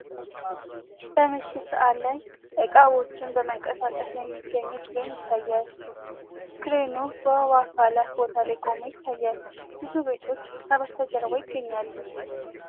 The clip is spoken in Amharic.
በምሽት ሰዓት ላይ እቃዎችን በመንቀሳቀስ ላይ የሚገኙ ክሬን ይታያል ክሬኑ በውሃ አካላት ቦታ ላይ ቆሞ ይታያል ። ብዙ ቤቶች ከጀርባ ይገኛሉ ።